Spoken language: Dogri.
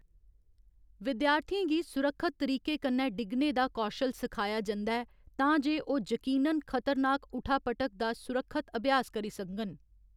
विद्यार्थियें गी सुरक्षत तरीके कन्नै डिग्गने दा कौशल सखाया जंदा ऐ तां जे ओह्‌‌ जकीनन खतरनाक ऊठा पटक दा सुरक्षत अभ्यास करी सकङन।